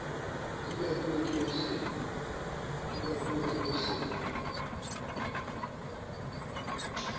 di bakuwe ke ho se